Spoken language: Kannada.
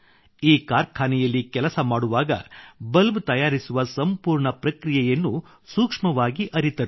ಈ ಕಾರ್ಖಾನೆಯಲ್ಲಿ ಕೆಲಸ ಮಾಡುವಾಗ ಬಲ್ಬ್ ತಯಾರಿಸುವ ಸಂಪೂರ್ಣ ಪ್ರಕ್ರಿಯೆಯನ್ನು ಸೂಕ್ಷ್ಮವಾಗಿ ಅರಿತರು